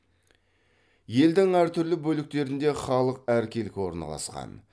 елдің әртүрлі бөліктерінде халық әркелкі орналасқан